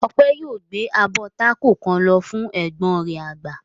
Ọpẹ̀ yóò gbé abọ́ tákò kan lọ fún ẹ̀gbọ́n rẹ̀ àgbà.